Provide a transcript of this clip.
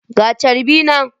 Ga charbi nan.